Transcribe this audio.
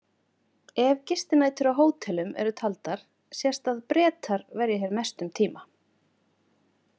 Ef gistinætur á hótelum eru taldar sést að Bretar verja hér mestum tíma.